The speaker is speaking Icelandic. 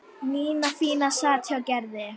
Nína fína sat hjá Gerði.